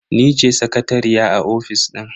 Ni ce sakatariya a ofis din.